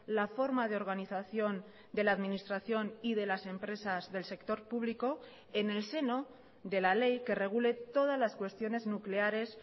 la forma de organización de la administración y de las empresas del sector público en el seno de la ley que regule todas las cuestiones nucleares